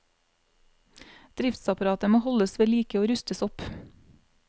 Driftsapparatet må holdes vedlike og rustes opp.